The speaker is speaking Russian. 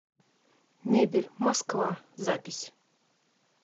мебель москва запись